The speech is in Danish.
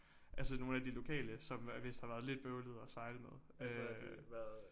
Altså nogle af de lokale som øh vist har været lidt bøvlede at sejle med øh